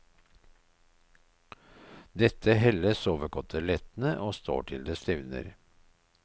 Dette helles over kotelettene og står til det stivner.